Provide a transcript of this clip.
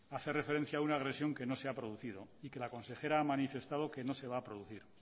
hace referencia a una agresión que no se ha producido y que la consejera ha manifestado que no se va a producir